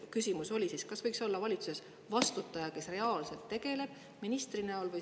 Küsimus on: kas valitsuses võiks olla vastutaja – minister või koordinaator –, kes sellega reaalselt tegeleb?